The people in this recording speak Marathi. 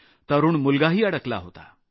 तरूण मुलगाही अडकला होता